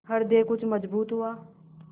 हृदय कुछ मजबूत हुआ